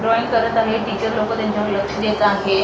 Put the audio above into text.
Drawing करत आहे teacher लोक त्यांच्यावर लक्ष देत आहे.